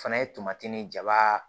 O fana ye tomati nin jaba